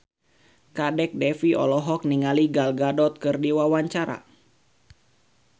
Kadek Devi olohok ningali Gal Gadot keur diwawancara